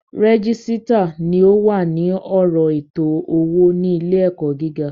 Régísítà ni o wà ní ọ̀rọ̀ ètò owó ní ilé ẹ̀kọ́ gíga